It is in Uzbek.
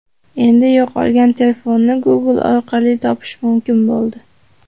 Endi yo‘qolgan telefonni Google orqali topish mumkin bo‘ldi.